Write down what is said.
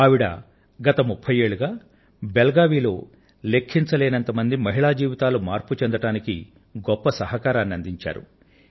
ఆవిడ గత ముఫ్ఫై సంవత్సరాలుగా బెళగావి లో లెక్కలేనంత మంది మహిళల జీవితాలు మార్పు చెందటానికి గొప్ప సహకారాన్ని అందించారు